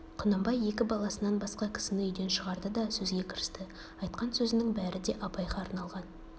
құнанбай екі баласынан басқа кісіні үйден шығарды да сөзге кірісті айтқан сөзінің бәрі де абайға арналған